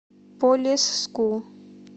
полесску